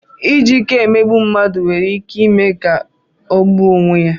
Iji ike emegbu mmadụ nwere ike ime ka ọ gbuo onwe ya.